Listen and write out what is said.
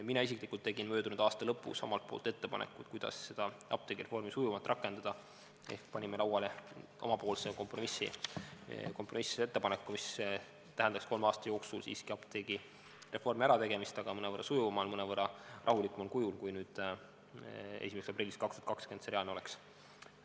Mina isiklikult tegin möödunud aasta lõpus omalt poolt ettepaneku, kuidas seda apteegireformi sujuvalt rakendada, ehk panime lauale oma kompromissettepaneku, mis tähendaks kolme aasta jooksul siiski apteegireformi ärategemist, aga mõnevõrra sujuvamalt, mõnevõrra rahulikumal kujul, kui 1. aprillist 2020 see reaalne oleks.